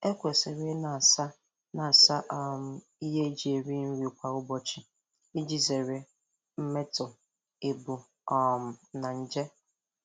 Ekwesịrị ị na-asa na-asa um ihe eji eri nri kwa ụbọchị iji zere mmetọ, ebu um na nje.